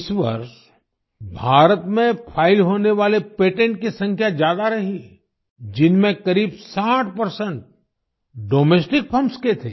इस वर्ष भारत में फाइल होने वाले पेटेंट्स की संख्या ज्यादा रही है जिसमें करीब 60 डोमेस्टिक फंड्स के थे